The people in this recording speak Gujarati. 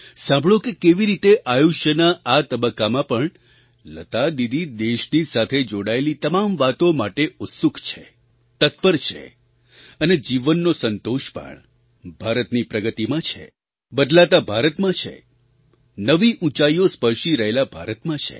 સાંભળો કે કેવી રીતે આયુષ્યના આ તબક્કામાં પણ લતા દીદી દેશની સાથે જોડાયેલી તમામ વાતો માટે ઉત્સુક છે તત્પર છે અને જીવનનો સંતોષ પણ ભારતની પ્રગતિમાં છે બદલતા ભારતમાં છે નવી ઊંચાઈઓ સ્પર્શી રહેલા ભારતમાં છે